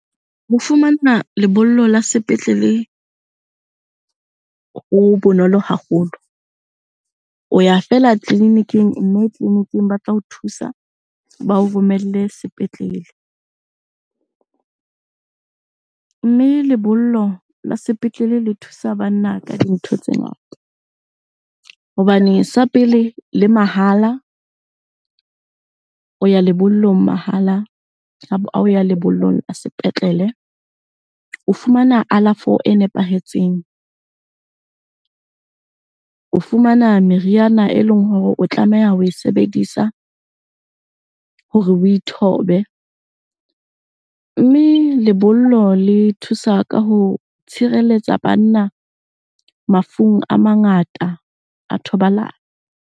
Ho fumana lebollo la sepetlele ho bonolo haholo. O ya fela tleliniking mme tleliniking ba tla ho thusa ba o romelle sepetlele. Mme lebollo la sepetlele le thusa banna ka dintho tse ngata hobane sa pele le mahala, o ya lebollong mahala ha o ya lebollong la sepetlele. O fumana alafo e nepahetseng, o fumana meriana e leng hore o tlameha ho e sebedisa hore o ithobe. Mme lebollo le thusa ka ho tshireletsa banna mafung a mangata a thobalano.